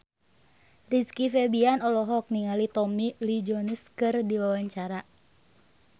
Rizky Febian olohok ningali Tommy Lee Jones keur diwawancara